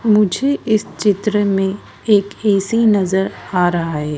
मुझे इस चित्र में एक ऐसी नजर आ रहा हैं।